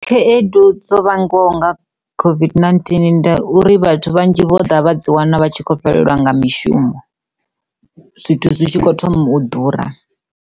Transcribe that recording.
Khaedu dzo vhangwaho nga COVID-19 nda uri vhathu vhanzhi vho ḓa vha dzi wana vha tshi khou fhelelwa nga mishumo zwithu zwi tshi kho thoma u ḓura.